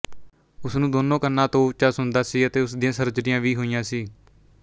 ਉਸ ਨੂੰ ਦੋਨੋ ਕੰਨਾਂ ਤੋਂ ਉੱਚਾ ਸੁਣਦਾ ਸੀ ਅਤੇ ਉਸ ਦੀਆਂ ਸਰਜਰੀਆਂ ਵੀ ਹੋਈਆਂ ਸੀ